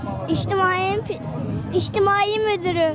İctimai müdürü.